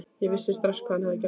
Ég vissi strax hvað hafði gerst.